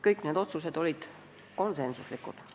Kõik need otsused olid konsensuslikud.